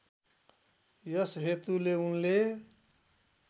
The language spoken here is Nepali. यस हेतुले उनले